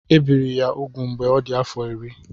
Ebiri ya úgwù mgbe ọ dị afọ iri.